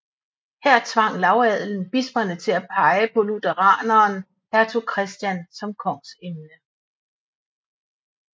Her tvang lavadelen bisperne til at pege på lutheraneren hertug Christian som kongsemne